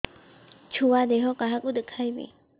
ଛୁଆ ଦେହ କାହାକୁ ଦେଖେଇବି